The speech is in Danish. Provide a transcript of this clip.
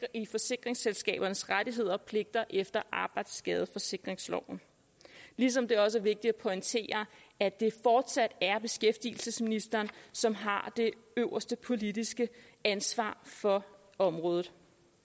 i forsikringsselskabernes rettigheder og pligter efter arbejdsskadeforsikringsloven ligesom det også er vigtigt at pointere at det fortsat er beskæftigelsesministeren som har det øverste politiske ansvar for området